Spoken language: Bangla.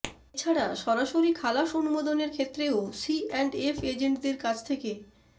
এ ছাড়া সরাসরি খালাস অনুমোদনের ক্ষেত্রেও সিঅ্যান্ডএফ এজেন্টদের কাছ থেকে